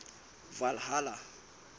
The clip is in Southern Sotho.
valhalla